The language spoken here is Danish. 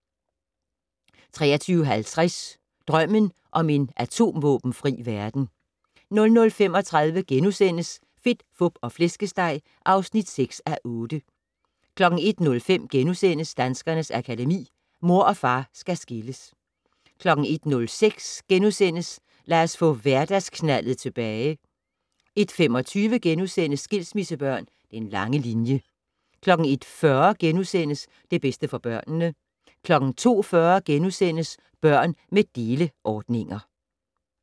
23:50: Drømmen om en atomvåbenfri verden 00:35: Fedt, Fup og Flæskesteg (6:8)* 01:05: Danskernes Akademi: Mor og far skal skilles * 01:06: Lad os få hverdagsknaldet tilbage * 01:25: Skilsmissebørn - Den lange linje * 01:40: Det bedste for børnene * 02:40: Børn med deleordninger *